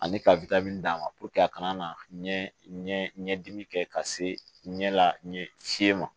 Ani ka d'a ma a kana na ɲɛdimi kɛ ka se ɲɛ la fiɲɛ ma